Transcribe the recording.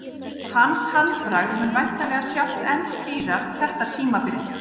Hans handbragð mun væntanlega sjást enn skýrar þetta tímabilið.